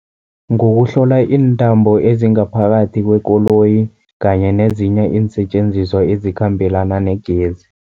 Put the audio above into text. Ngokuhlola iintambo ezingaphakathi kwekoloyi kanye nezinye iinsetjenziswa ezikhambelana negezi.